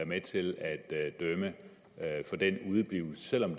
med til at dømme for den udeblivelse selv om